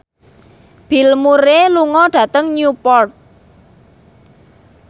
Bill Murray lunga dhateng Newport